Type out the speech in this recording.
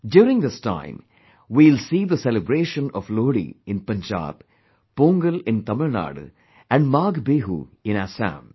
During this time, we will see the celebration of Lohri in Punjab, Pongal in Tamil Nadu and Maagh Biihu in Assam